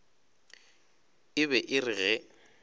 e be e re ge